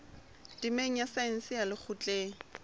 temeng ya saense ya lekgotleng